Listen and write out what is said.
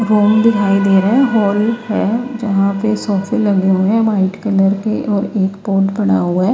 Ground दिखाई दे रहा है हॉल है जहां पे सोफे लगे हुए हैं वाइट कलर के और एक पोट पड़ा हुआ है।